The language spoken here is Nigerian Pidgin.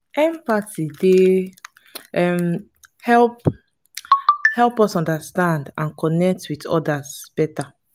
empathy dey um help help us understand and connect with odas better.